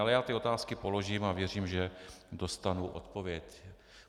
Ale já ty otázky položím a věřím, že dostanu odpověď.